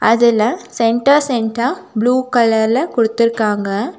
அதுல சென்டர் சென்டரா புளூ கலர்ல குடுத்துருக்காங்க.